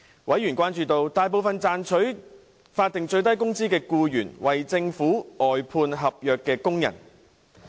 委員關注到，大部分賺取法定最低工資的僱員為政府外判合約工人。